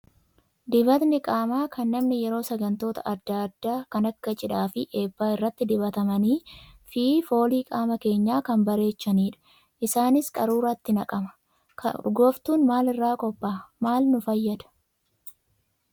Dibatni qaamaa kan namni yeroo sagantoota adda addaa kan akka cidhaa fi eebbaa irratti dibatamanii fi foolii qaama keenyaa kan bareechanidha. Isaanis qaruuraatti naqama. Urgooftuun maal irraa qophaa'a? Maal nu fayyada?